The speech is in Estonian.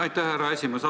Aitäh, härra esimees!